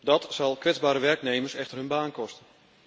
Dat zal kwetsbare werknemers echter hun baan kosten.